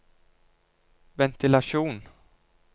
ventilasjon